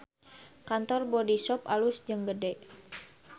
Kantor Bodyshop alus jeung gede